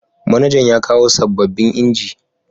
Manajan yakawo sababbin inji